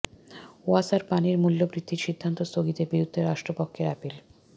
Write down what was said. ওয়াসার পানির মূল্য বৃদ্ধির সিদ্ধান্ত স্থগিতের বিরুদ্ধে রাষ্ট্রপক্ষের আপিল